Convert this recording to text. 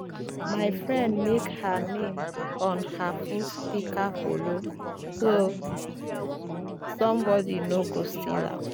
my friend mek her name on her fruit pika pole so sombodi no go steal am